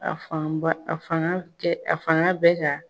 A fan ba, a fanga kɛ, a fanga bɛ ka